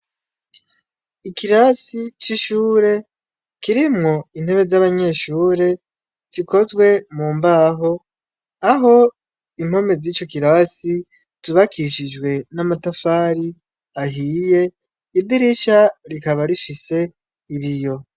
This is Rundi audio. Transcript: Ikirasi c'ishure kiremwo intebe z'abanyeshure zikozwe mu mbaho, aho impome z'ico kirasi zubakishijwe n'amatafari ahiye, idirisha rikaba rifise ibiyo.